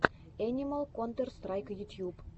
энимал контэр страйк ютьюб